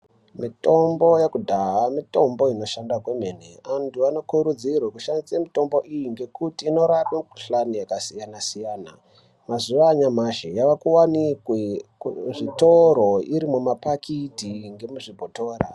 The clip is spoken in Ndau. Mitombo yekudhaya mitombo inoshanda kwemene, antu anokurudzirwa kuti ashandise mitombo iyi ngekuti inorape mikuhlani yakasiyana siyana mazuva anyamashi yakuwanikwe iri kuzvitoro iri mumaphakiti ngemuzvibhotora.